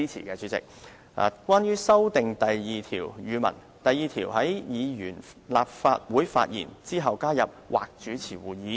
關於修訂第2條的建議，則是在第2條所訂"議員在立法會發言"之後加入"或主持會議"。